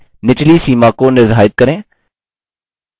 limits to decrease a level के नीचे: